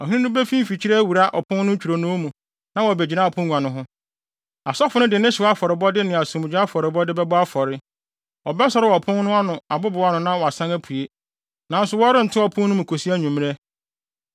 Ɔhene no befi mfikyiri awura ɔpon no ntwironoo mu na wabegyina apongua no ho. Asɔfo no de ne hyew afɔrebɔde ne asomdwoe afɔrebɔde bɛbɔ afɔre. Ɔbɛsɔre wɔ ɔpon no abobow ano na wasan apue, nanso wɔrento ɔpon no mu kosi anwummere.